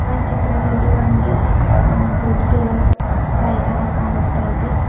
ಈ ಒನ್ ಚಿತ್ರದಲ್ಲಿ ಒಂದು ಅ ದೊಡ್ಡದು ಮೈದಾನ ಕಾಣಿಸ್ತಾ ಇದೆ.